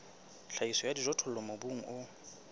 tlhahiso ya dijothollo mobung o